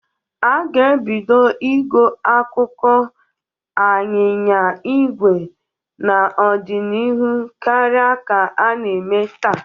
A ga-ebido igo akụkụ anyịnya igwe n'ọdinihu karia ka a na-eme taa.